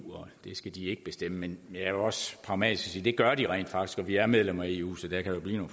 det skal de ikke bestemme men jeg vil også pragmatisk sige at det gør de rent faktisk og vi er medlem af eu så der kan blive